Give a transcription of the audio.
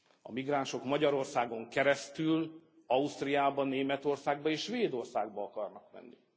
A migránsok Magyarországon keresztül Ausztriába, Németországba és Svédországba akarnak menni.